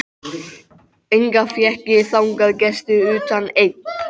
Enga fékk ég þangað gesti utan einn.